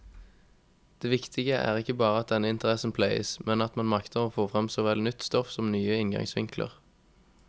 Det viktige er ikke bare at denne interessen pleies, men at man makter få frem såvel nytt stoff som nye inngangsvinkler.